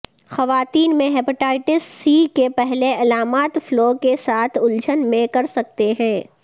خواتین میں hepatitis C کے پہلے علامات فلو کے ساتھ الجھن میں کر سکتے ہیں